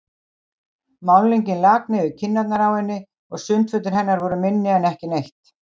Málningin lak niður kinnarnar á henni og sundfötin hennar voru minni en ekki neitt.